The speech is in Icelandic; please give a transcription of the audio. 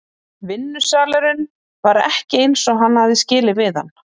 Vinnusalurinn var ekki eins og hann hafði skilið við hann.